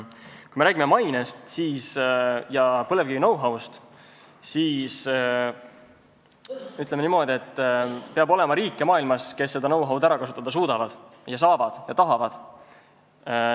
Kui me räägime mainest ja põlevkivi know-how'st, siis ütleme niimoodi, et maailmas peab olema riike, kes seda know-how'd ära kasutada suudavad, saavad ja tahavad.